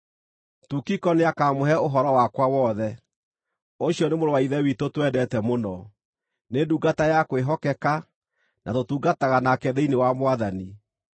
Tukiko nĩakamũhe ũhoro wakwa wothe. Ũcio nĩ mũrũ wa Ithe witũ twendete mũno, nĩ ndungata ya kwĩhokeka na tũtungataga nake thĩinĩ wa Mwathani.